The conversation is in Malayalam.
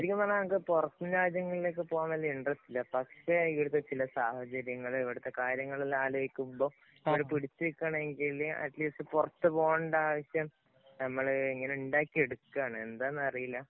ശരിക്കും പറഞ്ഞാല്‍ ഞങ്ങക്ക് പൊറത്ത് രാജ്യങ്ങളിലേക്ക് പോകാന്‍ വലിയ ഇന്‍ട്രസ്റ്റ് ഇല്ല. പക്ഷേ, ഇവിടത്തെ ചില സാഹചര്യങ്ങള്‍, ഇവിടത്തെ കാര്യങ്ങളെല്ലാം ആലോചിക്കുമ്പോള്‍ ഇവിടെ പിടിച്ചു നില്‍ക്കണമെങ്കില്‍ അറ്റ്‌ലീസ്റ്റ് പുറത്ത് പോകണ്ട ആവശ്യം നമ്മള് ഇങ്ങനെ ഉണ്ടാക്കി എടുക്കുകയാണ്.എന്താന്നറിയില്ല.